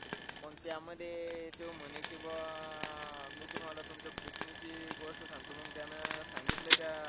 मग त्यामध्ये अह त्यो म्हणे अह कि, बा आह कि मी तुम्हाला तुमच्या पुतणीची गोष्ट सांगतो. मंग त्याने सांगितलं त्या